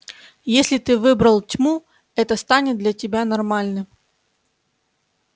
если ты выбрал тьму это станет для тебя нормальным